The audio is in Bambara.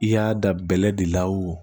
I y'a da bɛlɛ de la o